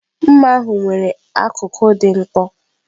Mma ahu nwere akụkụ dị nkọ.